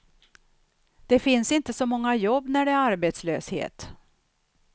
Det finns inte så många jobb, när det är arbetslöshet.